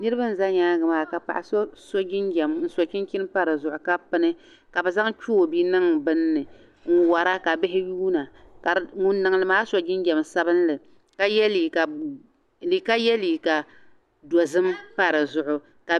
Niriba n-za nyaaŋa maa ka paɣa so so jinjam n-so chinchini pa di zuɣu ka pini ka bɛ zaŋ choobi niŋ bini ni n-wara ka bihi yuuna ka ŋun niŋdi maa so jinjam sabinli ka ye liiga dozim pa di zuɣu.